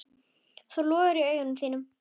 Það logar í augum þínum.